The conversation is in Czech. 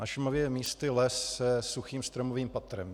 Na Šumavě je místy les se suchým stromovým patrem.